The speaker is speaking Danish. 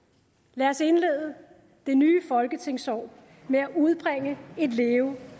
lad os indlede det nye folketingsår med at udbringe et leve